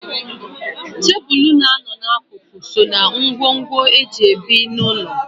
Tebụl na-anọ n'akụkụ so ná ngwongwo e ji ebi n'ụlọ.